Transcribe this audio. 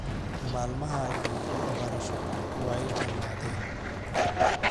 Maalmahagi waxbarasho way dhammaadeen